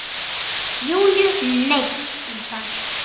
Júlíu neitt um það.